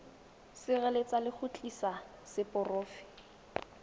sireletsa le go tiisa seporofe